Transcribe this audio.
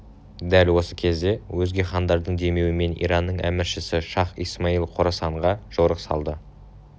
дәл осы кезде өзге хандардың демеуімен иранның әміршісі шах-ысмайыл қорасанға жорық салды